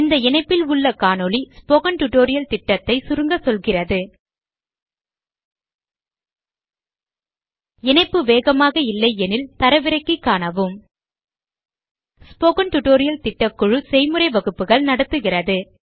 இந்த இணைப்பில் உள்ள காணொளி ஸ்போக்கன் டியூட்டோரியல் திட்டத்தை சுருங்க சொல்கிறது இணைப்பு வேகமாக இல்லையெனில் தரவிறக்கி காணவும் ஸ்போக்கன் டியூட்டோரியல் திட்டக்குழு செய்முறை வகுப்புகள் நடத்துகிறது